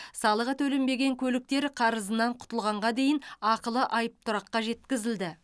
салығы төленбеген көліктер қарызынан құтылғанға дейін ақылы айыптұраққа жеткізілді